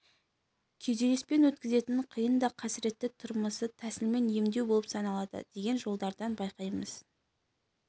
күйзеліспен өткізетін қиын да қасіретті тұрмысы тәсілмен емдеу болып саналады деген жолдардан байқаймыз